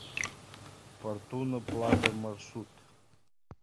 фортуна плаза маршрут